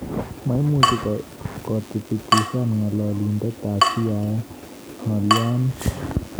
Maimuuch koitibitisyan ng'alalindet ab CIA ng'alyoni